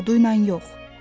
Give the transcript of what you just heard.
Caduyla yox.